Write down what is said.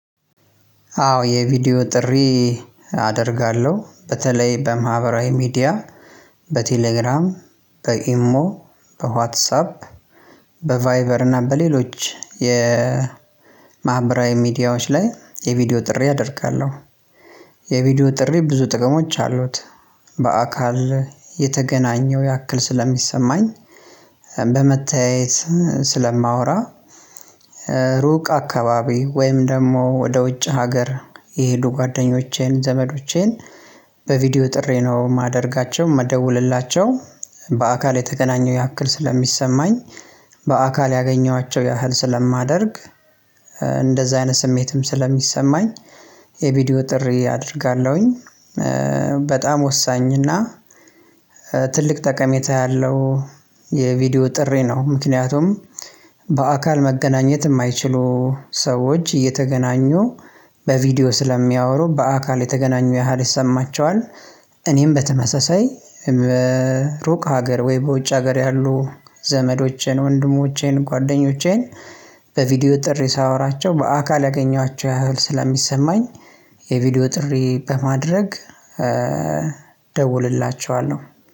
አዎ የቪዲዮ ጥሪ አደርጋለሁ በተለይ በማህበራዊ ሚዲያ በቴሌግራም በኢሞ በዋትሳፕ በቫይበር እና በሌሎች የማህበራዊ ሚዲያዎች ላይ የቪዲዮ ጥሪ አደርጋለሁ። የቪዲዮ ጥሪ ብዙ ጥቅሞች አሉት በአካል የተገናኘው ያክል ስለሚሰማኝ በመተያየት ስለማወራ ሩቅ አካባቢ ወይም ደግሞ ወደ ውጭ ሀገር የሄዱ ጓደኞቼን ዘመዶቼን በቪዲዮ ጥሪ ነው የማደርጋቸው የምደውልላቸው በአካል የተገናኘው ያክል ስለሚሰማኝ በአካል ያገኘኋቸው ያህል ስለማደርግ እንደዛ አይነት ስሜትም ስለሚሰማኝ የቪዲዮ ጥሪ አደርጋለሁኝ። በጣም ወሳኝ እና ትልቅ ጠቀሜታ ያለው የቪዲዮ ጥሪ ነው ምክንያቱም በአካል መገናኘት የማይችሉ ሰዎች እየተገናኙ በቪዲዮ ስለሚያወሩ በአካል የተገናኙ ያህል ይሰማቸዋል። እኔም በተመሳሳይ ሩቅ ሀገር ወይ በውጭ ሀገር ያሉ ዘመዶቼን ወንድሞቼን ጓደኞቼን በቪዲዮ ጥሪ ሳወራቸው በአካል ያገኟቸው ያህል ስለሚሰማኝ የቪዲዮ ጥሪ በማድረግ ደውልላቸዋለሁ።